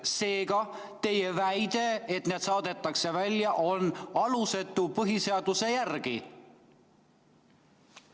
Seega, teie väide, et nad saadetakse välja, on põhiseaduse järgi alusetu.